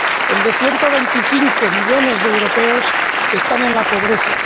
el de 125 millones de europeos que están en la pobreza